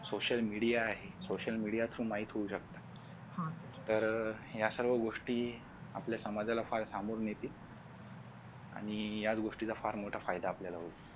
social media आहे social media च माहित होऊ शकत घरी या सर्व गोष्टी समाजाला फार संभाळून येथील आणि याच गोष्टीचा फार मोठा फायदा आपल्याला होईल